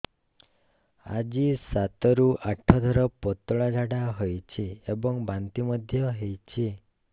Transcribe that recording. ଆଜି ସାତରୁ ଆଠ ଥର ପତଳା ଝାଡ଼ା ହୋଇଛି ଏବଂ ବାନ୍ତି ମଧ୍ୟ ହେଇଛି